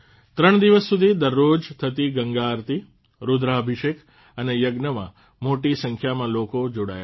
૩ દિવસ સુધી દરરોજ થતી ગંગા આરતી રૂદ્રાભિષેક અને યજ્ઞમાં મોટી સંખ્યામાં લોકો જોડાયા હતા